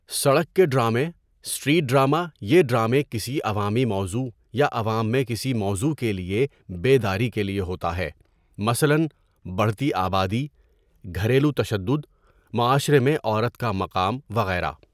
سڑک کے ڈرامے اسٹریٹ ڈراما یہ ڈرامے کسی عوامی موضوع یا عوام میں کسی موضوع کے لیے بے داری کے لیے ہوتا ہے مثلًا، بڑھتی آبادی، گھریلو تشدد، معاشرے میں عورت کا مقام، وغیرہ.